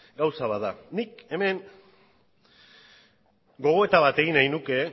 gauza bat da nik hemen gogoeta bat egin nahi nuke